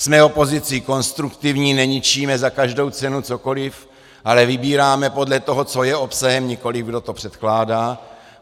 Jsme opozicí konstruktivní, neničíme za každou cenu cokoliv, ale vybíráme podle toho, co je obsahem, nikoliv, kdo to předkládá.